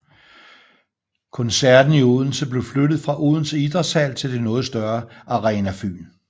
Koncerten i Odense blev flyttet fra Odense Idrætshal til det noget større Arena Fyn